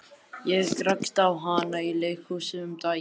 Ég rakst á hana í leikhúsi um daginn.